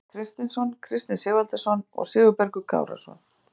Bjarki Kristinsson, Kristinn Sigvaldason og Sigurbergur Kárason.